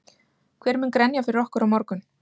Hver mun grenja fyrir okkur á morgun?